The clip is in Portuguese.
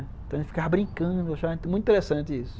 Então a gente ficava brincando, achava muito interessante isso.